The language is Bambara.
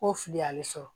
Ko fili a bɛ sɔrɔ